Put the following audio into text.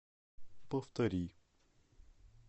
повтори